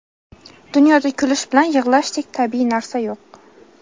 Dunyoda kulish bilan yig‘lashdek tabiiy narsa yo‘q.